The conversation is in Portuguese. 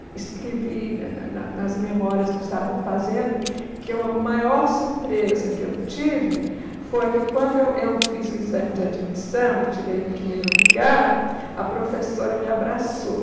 Eu escrevi na na na nas memórias que eu estava fazendo que o a maior surpresa que eu tive foi que, quando eu eu fiz o exame de admissão e tirei o primeiro lugar, a professora me abraçou.